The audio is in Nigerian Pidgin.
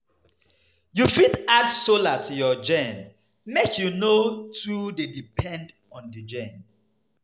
You fit add solar to your gen make you no too dey depend on di gen